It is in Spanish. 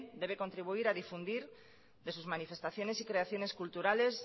debe contribuir a difundir de sus manifestaciones y creaciones culturales